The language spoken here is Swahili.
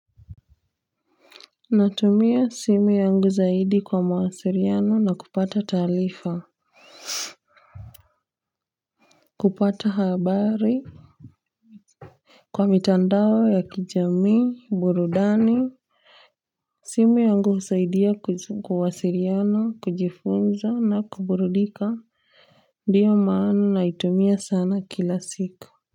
Natumia simu yangu zaidi kwa mawasiliano na kupata taarifa kupata habari kwa mitandao ya kijamii burudani, simu yangu husaidia kuwasiliana kujifunza na kuburudika ndio maana naitumia sana kila siku.